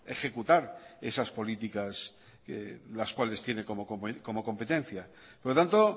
ejecutar esas políticas las cuales tiene como competencia por lo tanto